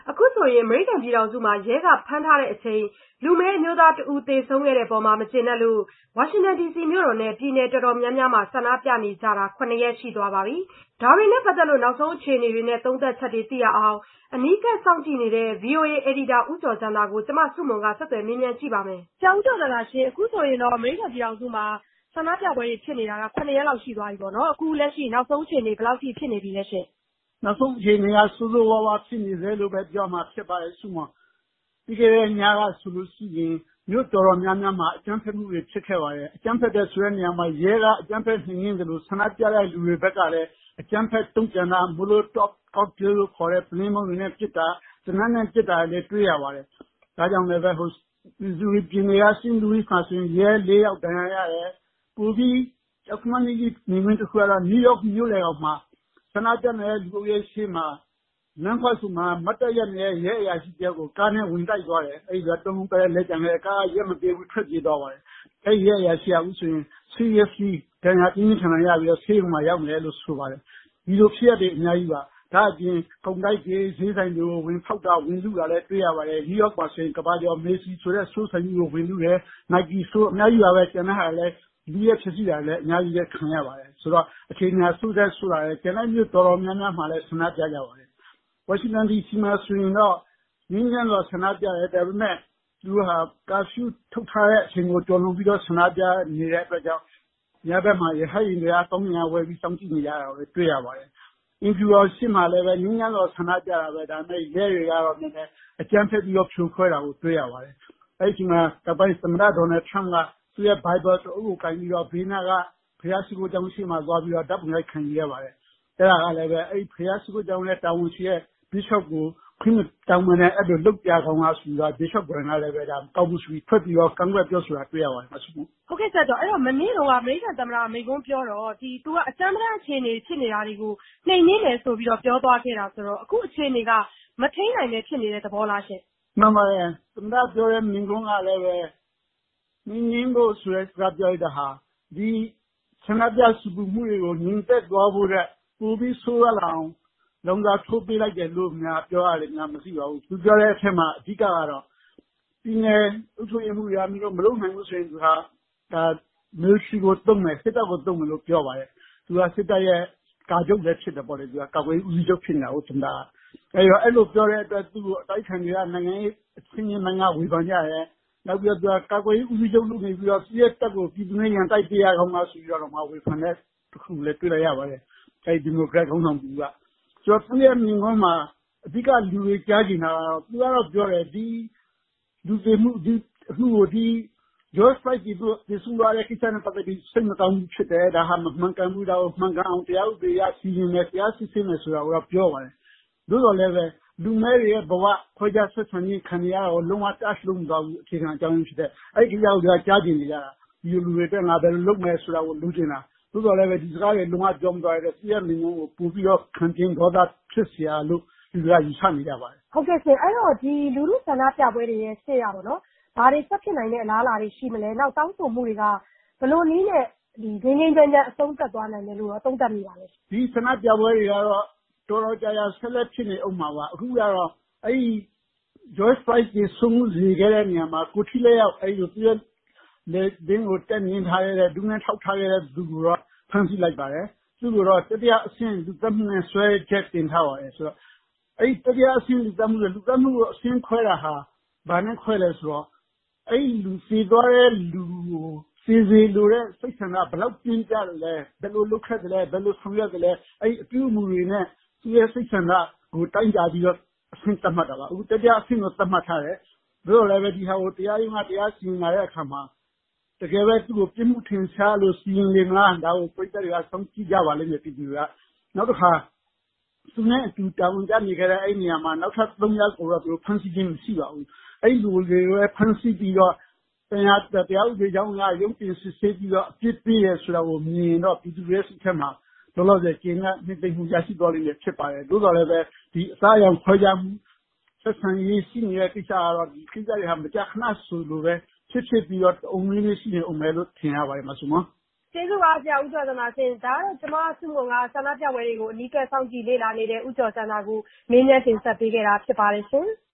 အခုဆိုရင် အမေရိကန် ပြည်ထောင်စုမှာ ရဲကဖမ်းဆီးချိန်မှာ လူမည်းအမျိုးသားတဦး သေဆုံးခဲ့တဲ့အပေါ်မှာ မကျေနပ်လို့ ဝါရှင်တန်ဒီစီနဲ့ ပြည်နယ်တော်တော်များများမှာ ဆန္ဒပြနေကြတာ ၇ ရက် ရှိသွားပါပြီ။ ဒါတွေနဲ့ ပတ်သက်လို့ နောက်ဆုံးအခြေအနေတွေနဲ့ သုံးသပ်ချက်တွေ သိရအောင် အနီးကပ်စောင့်ကြည့်နေတဲ့ ဗွီအိုအေအယ်ဒီတာ ဦးကျော်ဇံသာကို ကျမ ဆုမွန်က ဆက်သွယ်မေးမြန်းထားပါတယ်။ ဆရာဦးကျော်ဇံသာရှင့် အခုဆိုရင် အမေရိကန်ပြည်ထောင်စုမှာ ဆန္ဒပြပွဲတွေ ဖြစ်နေတာ ၇ ရက် လောက် ရှိသွားပါပြီပေါ့နော်။ အခုလက်ရှိ နောက်ဆုံးအခြေအနေ ဘယ်လောက်အထိ ဖြစ်နေပြီလဲရှင့်။ နောက်ဆုံးအခြေအနေကတော့ ဆိုးဆိုးဝါးဝါးဖြစ်နေဆဲ-လို့ ပြောရမှာပါ ဆုမွန်ရေ။ ပြီးခဲ့တဲ့ညကဆိုလို့ရှိရင် မြို့တော်တော်များများမှာ အကြမ်းဖက်မှုတွေဖြစ်ခဲ့ပါတယ်။ အကြမ်းဖက်တယ်ဆိုတဲ့နေရာမှာ ရဲက အကြမ်းဖက်နှိမ်နှင်းသလို ဆန္ဒပြတဲ့သူတွေဘက်ကလည်း အကြမ်းဖက်တုံ့ပြန်တာ ကော့တေးပုလင်းခွံတွေနဲ့ ပစ်တာ သေနတ်နဲ့ ပစ်တာတွေလည်း တွေ့ရပါတယ်။ ဒါကြောင့်လည်းပဲ Missouri ပြည်နယ်က စိန့်လူးဝစ်မှာဆိုရင် ရဲလေးယောက် ဒဏ်ရာရတယ်။ ပိုပြီး ကြောက်ခမန်းလိလိမြင်ကွင်းတခု ကတော့ နယူးယောက်မြို့လည်ခေါင်မှာ ဆန္ဒပြနေတဲ့ လူအုပ်ရှေ့ လမ်းခွဆုံမှာ မတ်တပ်ရပ်နေတဲ့ ရဲအရာရှိတယောက်ကို ကားနဲ့ဝင်တိုက်တယ်။ ကားက ရပ်မပေးဘူး။ ထွက်ပြေးသွားပါတယ်။ ရဲက ပြင်းပြင်းထန်ထန်ကို ဒဏ်ရာတွေရပြီး ဆေးရုံမှာ ရောက်နေတယ်လို့ ဆိုပါတယ်။ ဒီလိုဖြစ်ရပ်တွေက အများကြီးပါ။ ဒါ့အပြင် ကုန်တိုက်တွေ ဈေးဆိုင်တွေကို ဝင်လုတာ ဝင်ဖောက်တာ တွေ့ရပါတယ်။ နယူးယောက်မှာဆိုရင် ကမ္ဘာကျော် Macy ဆိုတဲ့ စတိုးလ်ဆိုင်ကြီးကို ဝင်လုတယ်။ Nike စတိုးလ် စသဖြင့် ကျန်တာတွေလည်း အများကြီးပါပဲ။ လုယက်ဖျက်ဆီးတာတွေ အများကြီးခံနေရပါတယ်။ ဆိုတော့ အခြေအနေက ဆိုးသထက်ဆိုးလာပါတယ်။ ကျန်တဲ့မြို့တွေတော်တော်များများလည်း ဆန္ဒတွေပြနေတယ်။ ဝါရှင်တန်ဒီစီမှာဆို ငြိမ်းငြိမ်းချမ်းချမ်း ဆန္ဒပြကြပါတယ်။ သို့သော် သူတို့က ကာဖျူးထုတ်ထားတဲ့ အချိန်ကိုကျော်လွန်ပြီး ဆန္ဒပြနေတဲ့အတွက်ကြောင့် ညဘက်မှာ ရဟတ်ယာဉ်တွေက ကောင်းကင်ယံက ဝဲပြီး စောင့်ကြည့်နေတာကိုလည်း တွေ့ရပါတယ်။ အိမ်ဖြူတော်ရှေ့မှာလည်း ငြိမ်းချမ်းစွာ ဆန္ဒပြသော်လည်းပဲ ရဲတွေဘက်က နည်းနည်းအကြမ်းဖက်ပြီးတော့ ဖြိုခွဲတာကို တွေ့ရပါတယ်။ အဲ့ဒီ့အချိန်မှာ အမေရိကန်သမ္မတဒေါနယ်လ်ထရမ့်က သူ့ရဲ့ Bible သမ္မာကျမ်းစာအုပ်ကိုင်ပြီး အိမ်ဖြူတော်ရှေ့နားက St John’s Church ဘုရားရှိခိုးကျောင်းရှေ့သွားပြီး ဓာတ်ပုံအရိုက်ခံပါတယ်။ အဲ့တာကိုလည်း ဘုရားရှိခိုးကျောင်းက တာဝန်ရှိတဲ့သူ Bishop ကို ခွင့်မတောင်းဘဲနဲ့ အဲ့သလို လုပ်ပြရကောင်းလားဆိုပြီး Bishop ကိုယ်တိုင်ထွက်ပြီးတော့ ပြောဆိုတာတွေ့ရပါတယ် မဆုမွန်။ ဟုတ်ကဲ့ ဆရာဦးကျော်ဇံသာ။ မနေ့တုန်းက အမေရိကန်သမ္မတ မိန့်ခွန်းထဲမှာပြောတော့ သူက အကြမ်းပတမ်း အခြေအနေအထိ ဖြစ်နေတာတွေကို အင်အားသုံး နှိမ်နင်းမယ်ဆိုပြီး ပြောသွားခဲ့တော့- အခုအခြေအနေက မထိန်းနိုင်ဘဲ ဖြစ်နေတဲ့ သဘောလားရှင့်။ မှန်ပါတယ်။ သမ္မတပြောလိုက်တဲ့ မိန့်ခွန်းကလည်းပဲ နှိမ်နှင်းဖို့ဆိုတဲ့ကိစ္စကို ပြောလိုက်တာဟာ ဒီဆန္ဒပြဆူပူမှုတွေကို ငြိမ်သက်သွားဖို့ထက်ပိုပြီးတော့မှ ဆိုးရွားသွားစေအောင် "လောင်စာ" ထိုးပေးလိုက်တယ်လို့များ ပြောရလေမလားပဲ။ သူပြောသွားတဲ့ အထဲမှာ ပြည်နယ်အုပ်ချုပ်ရေးမှူးတွေ မင်းတို့ မလုပ်နိုင်ဘူးဆိုရင် Military ကို သုံးမယ်... စစ်တပ်ကို သုံးမယ်လို့ပြောပါတယ်။ သူကိုယ်တိုင်ကလည်း ကာချုပ်လည်းဖြစ်တာကိုး စစ်တပ်ရဲ့ကာကွယ်ရေးဦးစီးချုပ်ဖြစ်နေတာကိုး။ အဲ့လိုသူကပြောလိုက်တော့ အတိုက်အခံတွေကရော နိုင်ငံရေးအသိုင်းအဝိုင်းကရော ဝေဖန်ကြတယ်။ နောက်ပြီးတော့ သူက ကာကွယ်ရေးဦးစီးချုပ်လုပ်နေပြီးတော့ "သူ့ရဲ့တပ်ကို ပြည်သူနဲ့ ရန်တိုက်ပေးရကောင်းလား"ဆိုပြီးတော့ ဝေဖန်တာတွေ့လိုက်ရပါတယ်။ ဒီမိုကရက်ခေါင်းဆောင် တဦးကဝေဖန်တာ။ ဆိုတော့ သူ့ရဲ့မိန့်ခွန်းမှာ အဓိက လူတွေက ကြားချင်တာက- ဆိုတော့ သူကတော့ပြောတယ် George Floyd သေဆုံးသွားတဲ့အမှုကို စိတ်မကောင်းဘူး ဖြစ်တယ်။ ဒါဟာ မမှန်ကန်ဘူး။ ဒါကို တရားဥပဒေအရ စစ်ဆေးမယ်။ တရားဥပဒေအရ စီရင်မယ် ဆိုတာကိုတော့ သူက ပြောပါတယ်။ သို့သော်လည်းပဲ လူမည်းတွေရဲ့ဘဝ ခွဲခြားဆက်ဆံခံနေရတာ လုံးဝ Touch မလုပ်သွားဘူး။ အခြေခံအကြောင်းရင်းဖြစ်တဲ့ဟာကို မပြောသွားဘူး။ အဲ့ဒီ့ကိစ္စကိုပဲ လူတွေက ကြားချင်နေကြတာ။ ဒီလိုလူတွေအတွက် ငါဘယ်လိုလုပ်မယ်ဆိုတာကို လိုချင်တာ သို့သော်လည်းပဲ ဒီစကားတွေကို လုံးဝမပြောသွားတဲ့အတွက် သူ့ရဲ့မိန့်ခွန်းကို ပိုပြီးတော့ ခံပြင်းဒေါသဖြစ်စရာလို့ လူတွေကယူဆနေကြပါတယ်။ ဟုတ်ကဲ့ရှင့် - ဒီလူထုဆန္ဒပြပွဲတွေရဲ့ ရှေ့ဘာတွေ ဆက်ဖြစ်နိုင်တဲ့ အလားအလာတွေ ရှိမလဲ တောင်းဆိုမှုတွေက ဘယ်လိုနည်းနဲ့ ငြိမ်းငြိမ်းချမ်းချမ်း အဆုံးသတ်သွားနိုင်မယ်လို့ရော သုံးသပ်မိလဲ။ ဒီဆန္ဒပြပွဲတွေကတော့ တော်တော်ကြာကြာ ဆက်လက်ဖြစ်နေဦးမှာပါ။ အခုကတော့ အဲ့ဒီ့ George Floyd သေဆုံးစေခဲ့တဲ့နေရာမှာ ကိုယ်ထိလက်ရောက် သူ့ရဲ့လည်ပင်းကို တက်နင်းထားတဲ့ ဒူးနဲ့ထောက်ထားခဲ့တဲ့ ရဲကို ဖမ်းဆီးထားတယ်။ သူ့ကို တတိယအဆင့်လူသတ်မှုနဲ့စွဲချက် တင်ထားပါတယ်။ ဆိုတော့ တတိယအဆင့်လို့ အဲ့ဒီ့လို လူသတ်မှုကို အဆင့်ခွဲတာက ဘာနဲ့ခွဲသလဲဆိုတော့ သေသွားတဲ့ အဲ့ဒီ့လူကို သေစေလိုတဲ့ စိတ်ဆန္ဒ ဘယ်လောက်ပြင်းပြခဲ့သလဲ၊ ဘယ်လိုလုပ်ခဲ့သလဲ၊ ဘယ်လိုဆောင်ရွက်ခဲ့သလဲ၊ အဲ့ဒီ့အပြုအမှုတွေနဲ့ ဆိုတဲ့ သူ့ရဲ့စိတ်ဆန္ဒကို တိုင်းတာပြီး အဆင့်သတ်မှတ်တာပါ။ အခုတော့ တတိယအဆင့် သတ်မှတ်ထားတယ်။ သို့သော် ဒီအမှုကို တရားရုံးက တရားစီရင်လာတဲ့အခါမှာ တကယ်ပဲ သူ့ကိုပြစ်မှုထင်ရှားလို့ စီရင်လေမလား။ ဒါကို ပရိတ်သတ်တွေက စောင့်ကြည့်ကြပါလိမ့်မယ်။ ပြည်သူတွေက။ နောက်တခါ သူနဲ့အတူ တာဝန်ကျနေခဲ့တဲ့ အဲ့ဒီ့နေရာက နောက်ထပ် ရဲသုံးယောက်ကိုတော့ ဖမ်းဆီးခြင်း မရှိပါဘူး။ အဲ့ဒီ့သူတွေကိုလည်း ဖမ်းဆီးပြီးတော့ တရားဥပဒေကြောင်းအရ ရုံးတင်စစ်ဆေးပြီးတော့ အပြစ်ပေးတယ်ဆိုတာမြင်ရင်တော့ ပြည်သူတွေရဲ့စိတ်ထဲမှာ လောလောဆယ် ကျေနပ်နှစ်သိမ့်မှု ရရှိလိမ့်မယ်ဖြစ်ပါတယ်။ သို့သော်လည်းပဲ ဒီအသားအရောင်ခွဲခြားမှု ခွဲခြားဆက်ဆံရေး တွေရှိနေတာတွေက မကြာခဏဆိုသလိုပဲ ဖြစ်ပြီးတော့ တအုံ့နွေးနွေး ဆက်ဖြစ်နေဦးမယ်လို့ ထင်ရပါတယ် မဆုမွန်။ ကျေးဇူးပါ ဆရာဦးကျော်ဇံသာရှင့်။ ဒါကတော့ ကျမဆုမွန်က ဆန္ဒပြပွဲတွေကို အနီးကပ်စောင့်ကြည့်လေ့လာနေတဲ့ ဦးကျော်ဇံသာကို မေးမြန်းတင်ဆက်ပေးခဲ့တာပါရှင်။